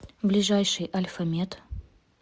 ближайший альфа мед